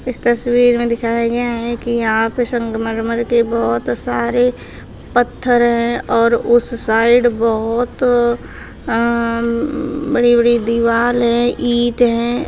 इस तस्वीर में दिखाया गया है कि यहाँ पे संगमरमर के बहोत सारे पत्थर हैं और उस साइड बहोत उम्म बड़ी बड़ी दीवाल है ईट हैं।